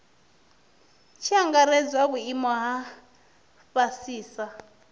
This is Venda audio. tshi angaredzwa vhuimo ha fhasisa